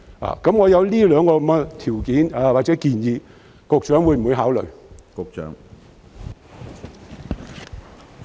我提出的這兩項條件或建議，局長會否考慮？